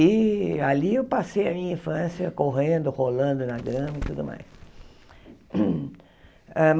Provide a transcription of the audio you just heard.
E ali eu passei a minha infância correndo, rolando, nadando e tudo mais. eh